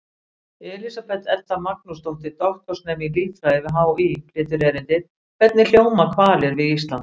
Elísabet Edda Magnúsdóttir, doktorsnemi í líffræði við HÍ, flytur erindið: Hvernig hljóma hvalir við Ísland?